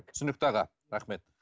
түсінікті аға рахмет